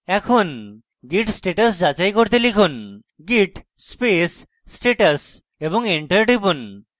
এখন git status যাচাই করতে লিখুন git space status এবং enter টিপুন